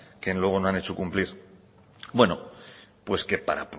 que luego no han hecho cumplir bueno pues que para